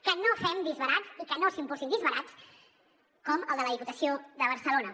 que no fem disbarats i que no s’impulsin disbarats com el de la diputació de barce·lona